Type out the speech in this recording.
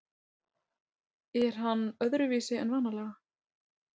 Er hann öðruvísi en vanalega?